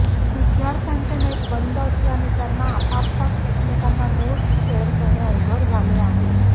विद्यार्थ्यांचे नेट बंद असल्याने त्यांना आपआपसात एकमेकांना नोट्स शेअर करणे अवघड झाले आहे